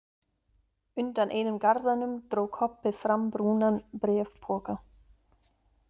Undan einum garðanum dró Kobbi fram brúnan bréfpoka.